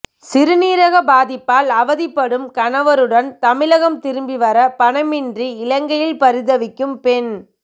சிறுநீரக பாதிப்பால் அவதிப்படும் கணவருடன் தமிழகம் திரும்பிவர பணமின்றி இலங்கையில் பரிதவிக்கும் பெண்